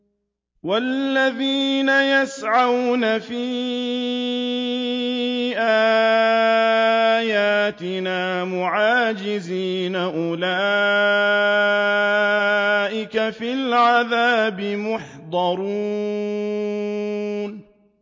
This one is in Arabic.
وَالَّذِينَ يَسْعَوْنَ فِي آيَاتِنَا مُعَاجِزِينَ أُولَٰئِكَ فِي الْعَذَابِ مُحْضَرُونَ